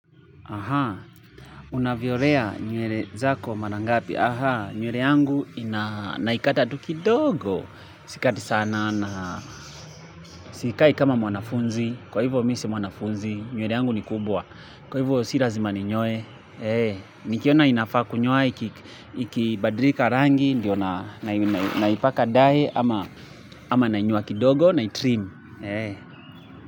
Aha. Unavyo lea nywele zako mara ngapi. Ahaa. Nywele yangu naikata tu kidogo. Sikati sana na sikai kama mwanafunzi. Kwa hivyo mi sio mwanafunzi nywele yangu ni kubwa. Kwa hivyo si lazima ninyoe Eh. Nikiona inafaa kunyoa ikibadilika rangi. Ndio naipaka dye ama nainyoa kidogo na itrim. Eh.